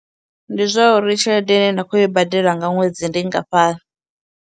Ndi zwauri tshelede ine nda khou yo i badela nga ṅwedzi ndi nngafhani.